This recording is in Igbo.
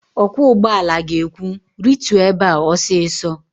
Ọkwọ ụgbọala ga-ekwu, "rituo ebe a ọsịsọ"!